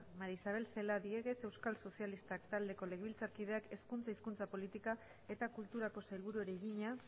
maría isabel celaá diéguez euskal sozialistak taldeko legebiltzarkideak hezkuntza hizkuntza politika eta kulturako sailburuari egina